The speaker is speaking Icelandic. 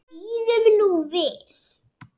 Bíðum nú við.